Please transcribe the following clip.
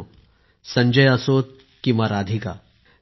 मित्रांनो संजय असोत किंवा राधिका